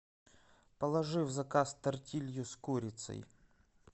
положи в заказ тортилью с курицей